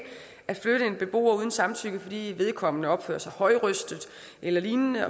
at flytte en beboer uden samtykke fordi vedkommende opfører sig højrøstet eller lignende